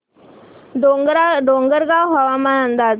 डोंगरगाव हवामान अंदाज